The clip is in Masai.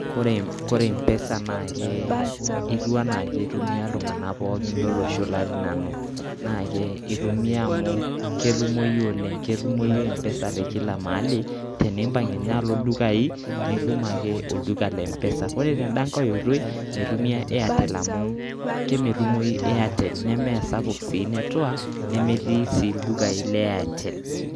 Kore mpesa naake etiu anaake itumia iltung'anak pookin lolosho latii nanu, naake itumia amu ketumoyu oleng'. Ketumoyu mpesa te kila mahali tenimpang' nye alo ildukai nitum ake olduka le mpesa. Kore tenda nkae oitoi mitumia airtel amu kemetumoyu airtel, nemesapuk sii network nemetii sii ildukai le airtel.